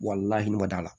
Walahi ma d'a la